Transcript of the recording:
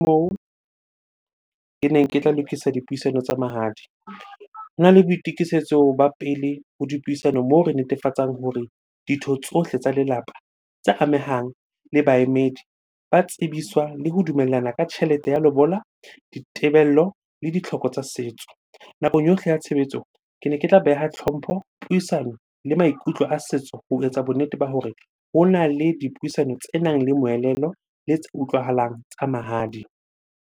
Moo keneng ke tla lokisa dipuisano tsa mahadi. Hona le boitukisetso ba pele ho dipuisano moo re netefatsang hore ditho tsohle tsa lelapa tse amehang le baemedi ba tsebiswa le ho dumellana ka tjhelete ya lobola, ditebello le ditlhoko tsa setso. Nakong yohle ya tshebetso, kene ke tla beha tlhompho, puisano le maikutlo a setso ho etsa bonnete ba hore hona le dipuisano tsenang le moelelo le tse utlwahalang tsa mahadi.